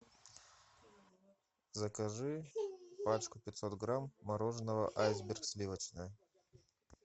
закажи пачку пятьсот грамм мороженого айсберг сливочное